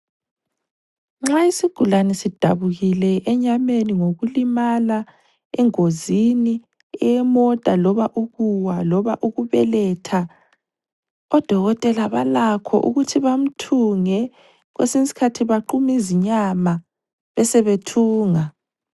Nxa isigulane sidabukile enyameni ngokulimala engozini yemota loba ukuwa loba ukubeletha odokotela balakho ukuthi bamthunge kwesinye isikhathi baqume izinyama besebethunga.